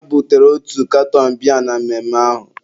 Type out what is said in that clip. ha butere otu katọn biya na mmemme ahụ